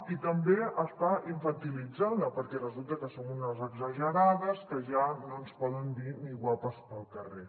i també està infantilitzada perquè resulta que som unes exagerades que ja no ens poden dir ni guapes pel carrer